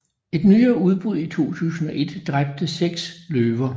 Et nyere udbrud i 2001 dræbte seks løver